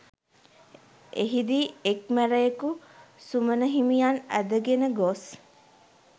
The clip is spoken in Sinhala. එහිදී එක්‌ මැරයකු සුමන හිමියන් ඇදගෙන ගොස්